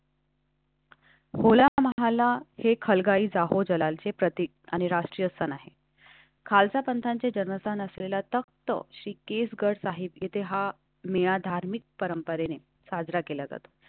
बोला, तुम्हाला हेखल गावी जाऊन जलालचे प्रतीक आणि राष्ट्रीय सण आहे. खालसा पंथाचे जन्मस्थान असलेला तख्त श्री केस गट आहेत. येथे हा मेळा धार्मिक परंपरेने साजरा केला जात.